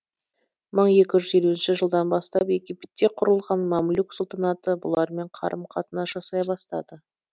мың екі жүз елуінші жылдан бастап египетте құрылған мамлюк сұлтанаты бұлармен қарым қатынас жасай бастады